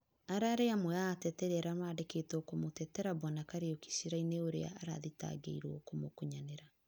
ararĩ amwe a ateterĩ arĩa marandĩkĩtwo kũmũtetera Bwana Karĩuki cĩraĩnĩ ũrĩa arathĩrangĩrwo gũkũnyanĩra